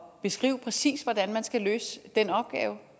beskrive præcis hvordan man skal løse den opgave